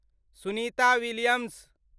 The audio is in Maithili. सुनिता विलियम्स